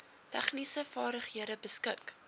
tegniese vaardighede beskik